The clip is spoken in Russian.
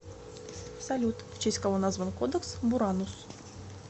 салют в честь кого назван кодекс буранус